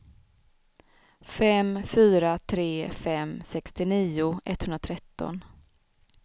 fem fyra tre fem sextionio etthundratretton